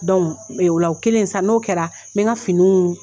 o la o kɛlen sa n'o kɛra n bɛ n ka finiw